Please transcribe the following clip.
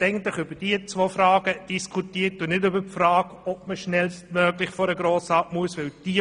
Die BDP hat über diese beiden Fragen diskutiert und nicht über die Frage, ob man «schnellstmöglich» vor den Grossen Rat kommen muss.